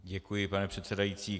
Děkuji, pane předsedající.